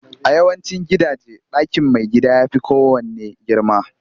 A yawancin gidaje, ɗakin maigida ya fi kowanne girma